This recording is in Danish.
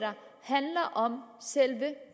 handler om selve